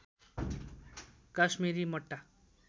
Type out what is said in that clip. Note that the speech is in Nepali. काश्मिरी मट्टा